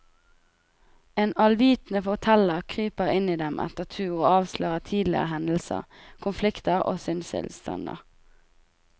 En allvitende forteller kryper inn i dem etter tur og avslører tidligere hendelser, konflikter og sinnstilstander.